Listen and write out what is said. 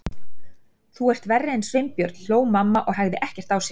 Þú ert verri en Sveinbjörn hló mamma og hægði ekkert á sér.